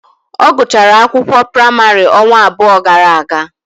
Ọ gụchara akwụkwọ praịmarị ọnwa abụọ gara aga.